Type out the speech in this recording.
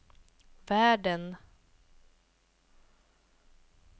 världen